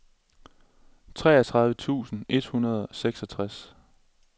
treogtredive tusind et hundrede og seksogtres